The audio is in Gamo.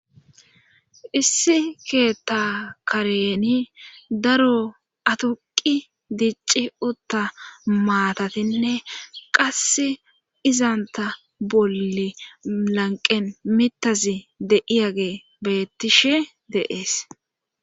issi keetha kareni daro aduqi dicci utta maatatinne qass izanta bolle lanqen mitazi de7iyage bettishe deees